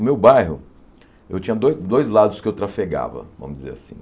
O meu bairro, eu tinha do dois lados que eu trafegava, vamos dizer assim.